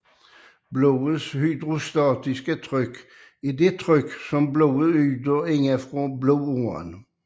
Blodets hydrostatiske tryk er det tryk som blodet yder indefra på blodåren